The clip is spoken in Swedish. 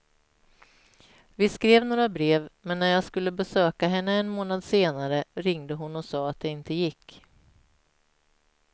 Vi skrev några brev men när jag skulle besöka henne en månad senare ringde hon och sa att det inte gick.